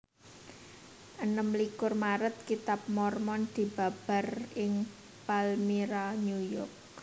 Enem likur Maret Kitab Mormon dibabar ing Palmyra New York